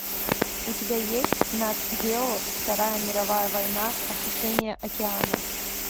у тебя есть нат гео вторая мировая война осушение океана